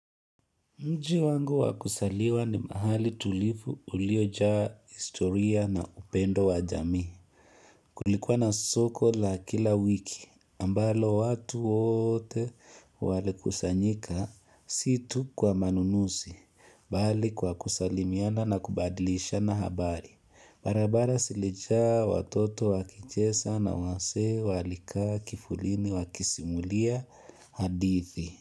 Mji wangu wa kusaliwa ni mahali tulifu uliojaa historia na upendo wa jamii. Kulikuwa na soko la kila wiki ambalo watu wote wali kusanyika si tu kwa manunusi. Bali kwa kusalimiana na kubadilishana habari. Barabara silijaa watoto wakichesa na wasee walikaa kifulini wakisimulia hadithi.